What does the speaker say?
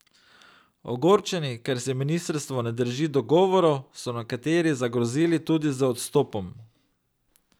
Ogorčeni, ker se ministrstvo ne drži dogovorov, so nekateri zagrozili tudi z odstopom.